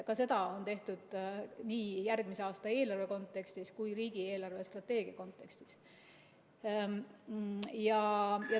Ka seda on tehtud nii järgmise aasta eelarve kui ka riigi eelarvestrateegia kontekstis.